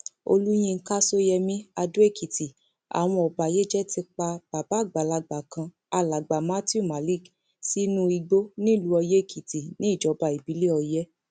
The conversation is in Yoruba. olùyinka sóyemí adóèkìtì àwọn ọbàyéjẹ ti pa bàbá àgbàlagbà kan alàgbà matthew malik sínú igbó nílùú oyèèkìtì níjọba ìbílẹ ọyẹ